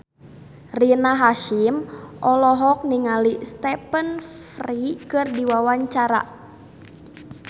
Rina Hasyim olohok ningali Stephen Fry keur diwawancara